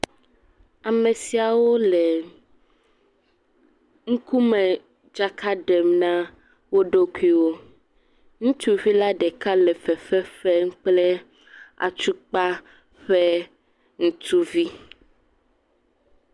Amesiawo le ŋkumedzaka ɖem na woɖokui wo, ŋutsuvi la ɖeka le fefe fem kple atukpa ƒe ŋutuvi.